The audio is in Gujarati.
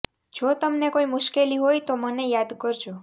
જો તમને કોઈ મુશ્કેલી હોય તો મને યાદ કરજો